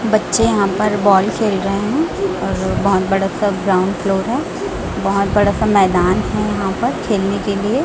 बच्चे यहाँ पर बॉल खेल रहे हैं। और बहोत बड़ा सा ग्राउंड फ्लोर है। बहोत बड़ा सा मैदान है। यहाँ पर खेलने के लिए --